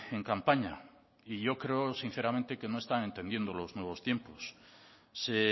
en campaña y yo creo sinceramente que no está entendiendo los nuevos tiempos se